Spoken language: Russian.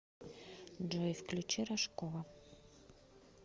джой включи рожкова